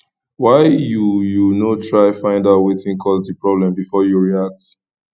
why you you no try find out wetin cause di problem before you react